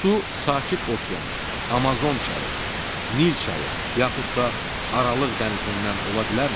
Bu su Sakit Okean, Amazon çayı, Nil çayı, yaxud da Aralıq dənizindən ola bilərmi?